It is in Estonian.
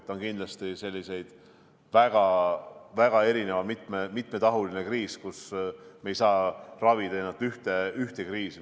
See on kindlasti selline väga mitmetahuline kriis, kus me ei saa ravida ühte kriisi.